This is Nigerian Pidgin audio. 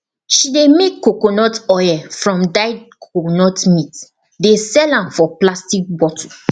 she dey make coconut oil from dried coconut meat dey sell am for plastic bottle